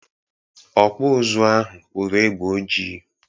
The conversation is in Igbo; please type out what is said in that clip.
Ọkpụ ụzụ ahụ kpụrụ egbe ojii.